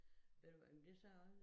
Ved du hvad men det sagde jeg også